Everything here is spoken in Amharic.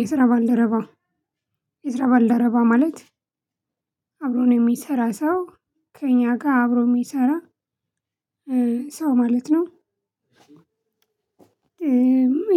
የስራ ባልደረባ የስራ ባልደረባ ማለት አብሮን ነው የሚሰራ ሰው ከእኛ ጋር አብሮ የሚሰራ ሰው ማለት ነው።